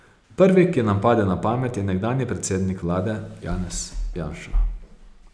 Prvi, ki nam pade na pamet, je nekdanji predsednik vlade Janez Janša.